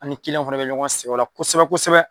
An ni kiliɲanw fana bɛ ɲɔgɔn sɛgɛn o la kosɛbɛ kosɛbɛ.